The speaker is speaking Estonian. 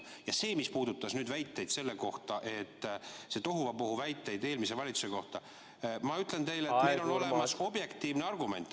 Ja see, mis puudutas neid tohuvabohu väiteid eelmise valitsuse kohta – ma ütlen teile, on olemas objektiivne argument.